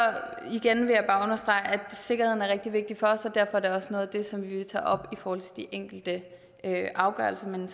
igen vil jeg bare understrege at sikkerheden er rigtig vigtig for os så derfor er det også noget af det som vi vil tage op i forhold til de enkelte afgørelser men